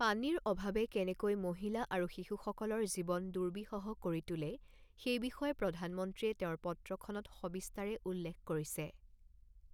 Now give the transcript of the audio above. পানীৰ অভাৱে কেনেকৈ মহিলা আৰু শিশুসকলৰ জীৱন দুৰ্বিষহ কৰি তোলে সেই বিষয়ে প্ৰধানমন্ত্ৰীয়ে তেওঁৰ পত্ৰখনত সবিস্তাৰে উল্লেখ কৰিছে।